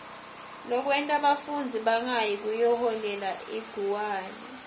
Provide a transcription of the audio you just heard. lokwenta bafundzi bangayi kuyoholela liguwane